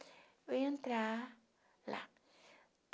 Eu ia entrar lá.